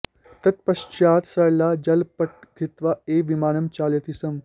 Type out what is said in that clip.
तत्पश्चात् सरला गलपट्टं धृत्वा एव विमानं चालयति स्म